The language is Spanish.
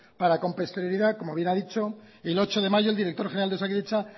para con posterioridad como ya bien han dicho el ocho de mayo el director general de osakidetza